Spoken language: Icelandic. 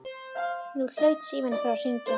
Nú hlaut síminn að fara að hringja.